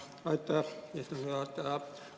Aitäh, istungi juhataja!